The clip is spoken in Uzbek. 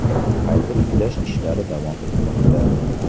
Qayta tiklash ishlari davom etmoqda.